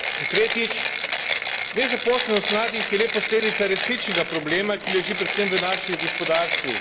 Tretjič nezaposlenost mladih je le posledica resničnega problema, ki leži predvsem v naših gospodarstvih.